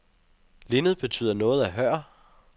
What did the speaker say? Linned betyder noget af hør.